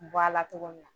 Bɔ a la cogo min na